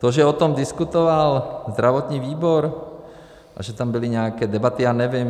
To, že o tom diskutoval zdravotní výbor a že tam byly nějaké debaty, já nevím.